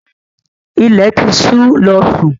Ilẹ̀ ti ṣú, lọ́ sún!